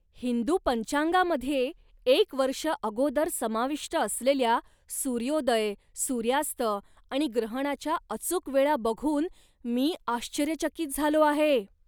हिंदू पंचांगामध्ये एक वर्ष अगोदर समाविष्ट असलेल्या, सूर्योदय, सूर्यास्त आणि ग्रहणाच्या अचूक वेळा बघून मी आश्चर्यचकित झालो आहे.